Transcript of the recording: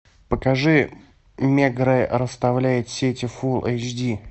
покажи мегрэ расставляет сети фул эйч ди